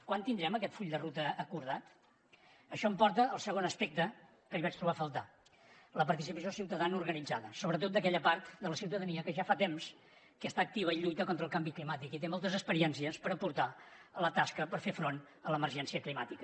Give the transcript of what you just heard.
quan tindrem aquest full de ruta acordat això em porta al segon aspecte que hi vaig trobar a faltar la participació ciutadana organitzada sobretot d’aquella part de la ciutadania que ja fa temps que està activa i lluita contra el canvi climàtic i té moltes experiències per aportar a la tasca per fer front a l’emergència climàtica